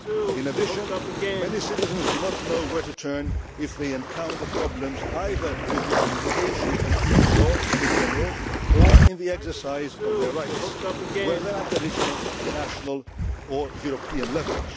In addition, many citizens do not know where to turn if they encounter problems either with the application of EU law in general or in the exercise of their rights, whether at regional, national or European